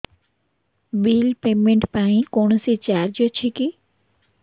bill payment ପାଇଁ କୌଣସି charge ଅଛି କି